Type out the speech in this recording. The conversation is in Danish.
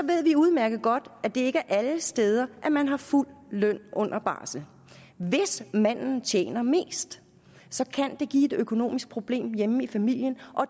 ved vi udmærket godt at det ikke er alle steder at man har fuld løn under barsel hvis manden tjener mest kan det give et økonomisk problem hjemme i familien og